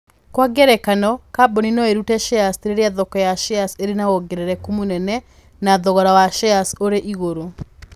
Kwa ngerekano, kambuni no ĩrute shares rĩrĩa thoko ya shares ĩrĩ na wongerereku mũnene na thogora wa shares ũrĩ igũrũ.